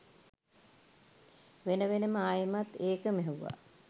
වෙන වෙනම ආයෙමත් ඒකම ඇහුවා